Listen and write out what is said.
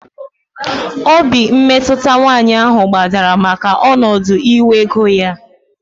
Obi mmetụta nwaanyị ahụ gbadara maka ọnọdụ inwe ego ya